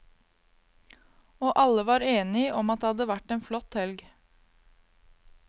Og alle var enig om at det hadde vært en flott helg.